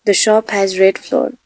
The shop has red floor .